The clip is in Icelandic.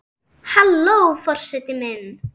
Halló forseti minn!